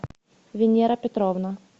венера петровна